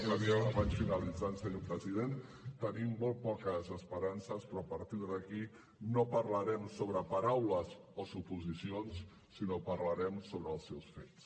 vaig finalitzant senyor president tenim molt poques esperances però a partir d’aquí no parlarem sobre paraules o suposicions sinó que parlarem sobre els seus fets